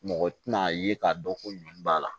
Mɔgɔ tɛna ye k'a dɔn ko ɲɔn b'a la